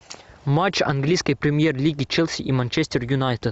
матч английской премьер лиги челси и манчестер юнайтед